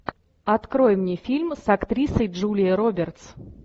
открой мне фильм с актрисой джулией робертс